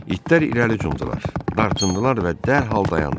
İtlər irəli cumdular, dartındılar və dərhal dayandılar.